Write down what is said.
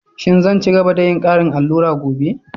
Shin zan ci gaba da yin ƙarin allura gobe?